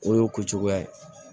O y'o ko cogoya ye